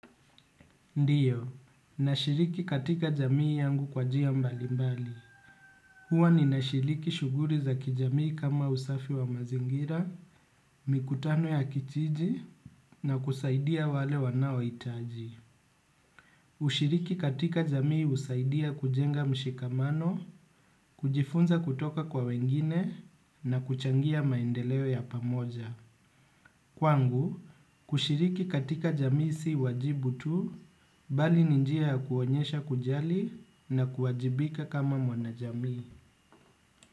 Ndiyo, nashiriki katika jamii yangu kwa njia mbalimbali. Huwa ninashiriki shughuli za kijamii kama usafi wa mazingira, mikutano ya kijiji, na kusaidia wale wanaohitaji. Kushiriki katika jamii husaidia kujenga mshikamano, kujifunza kutoka kwa wengine na kuchangia maendeleo ya pamoja kwangu, kushiriki katika jamii si wajibu tu, bali ni njia ya kuonyesha kujali na kuwajibika kama mwana jamii.